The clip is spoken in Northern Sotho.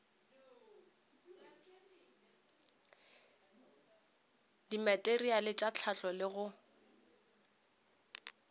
dimateriale tša hlahlo le go